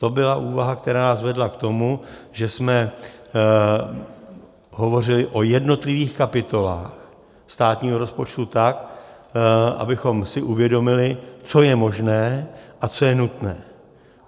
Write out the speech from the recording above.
To byla úvaha, která nás vedla k tomu, že jsme hovořili o jednotlivých kapitolách státního rozpočtu tak, abychom si uvědomili, co je možné a co je nutné.